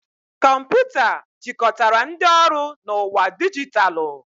Kọmputa jikọtara ndị ọrụ na ụwa dijitalụ.